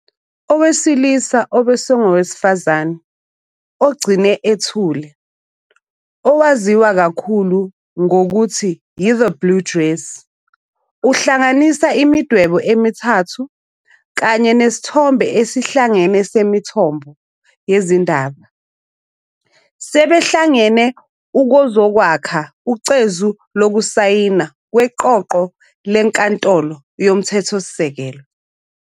Owesilisa Obe Sang Owesifazane Ogcine Ethule, 'owaziwa kakhulu ngokuthi yi-'The Blue Dress', ohlanganisa imidwebo emithathu kanye nesithombe esihlangene semithombho yezindaba, sebehlangene ukuzokwakha ucezu lokusayina kweqoqo leNkantolo Yomthethosisekelo.